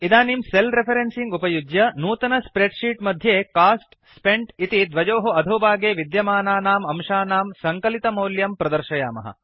इदानीं cell referencing उपयुज्य नूतन स्प्रेड् शीट् मध्ये कोस्ट स्पेन्ट् इति द्वयोः अधोभागे विद्यमानानाम् अंशानां सङ्कलितमौल्यं प्रदर्शयामः